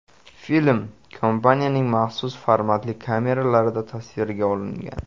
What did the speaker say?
Film kompaniyaning maxsus formatli kameralarida tasvirga olingan.